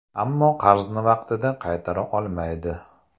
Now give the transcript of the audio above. Ammo qarzni vaqtida qaytara olmaydi.